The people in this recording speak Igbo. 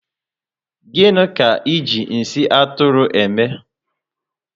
Gịnị ka eji nsị Atụrụ eme?